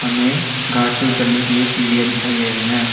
हमे घाट से उतरने के लिए सीढ़ियां दिखाई दे रहे हैं।